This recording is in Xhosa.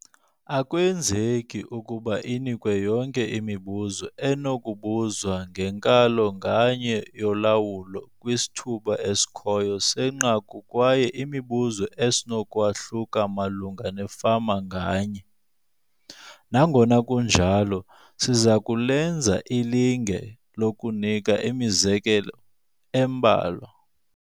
Akwenzeki ukuba inikwe yonke imibuzo enokubuzwa ngenkalo nganye yolawulo kwisithuba esikhoyo senqaku kwaye imibuzo isenokwahluka malunga nefama nganye. Nangona kunjalo, siza kulenza ilinge lokunika imizekelo embalwa.